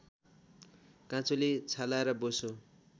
काँचुली छाला र बोसो